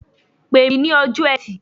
Pe mi ní ọjọ́ Ẹtì.